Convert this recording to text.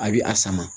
A bɛ a sama